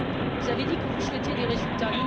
Vous avez dit que vous souhaitiez des résultats.